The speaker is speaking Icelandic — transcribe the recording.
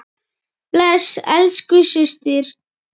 Bless elsku systir.